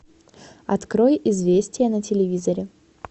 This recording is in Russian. открой известия на телевизоре